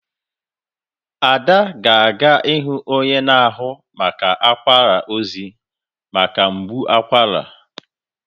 Ada ga-aga ịhụ onye na-ahụ maka akwara ozi maka mgbu akwara.